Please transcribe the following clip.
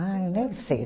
Ai, nem sei.